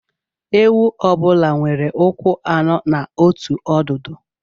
Ewu ọ bụla nwere ụkwụ anọ na otu ọdụdu